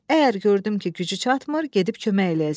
Əgər gördüm ki, gücü çatmır, gedib kömək eləyəcəm.